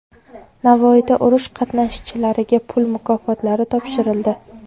Navoiyda urush qatnashchilariga pul mukofotlari topshirildi.